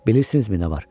Bilirsinizmi nə var?